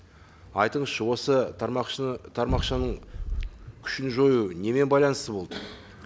айтыңызшы осы тармақшаның күшін жою немен байланысты болды